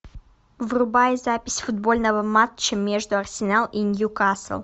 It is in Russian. врубай запись футбольного матча между арсенал и ньюкасл